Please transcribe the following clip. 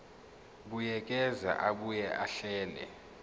buyekeza abuye ahlele